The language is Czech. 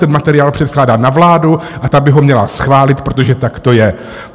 Ten materiál předkládá na vládu a ta by ho měla schválit, protože tak to je.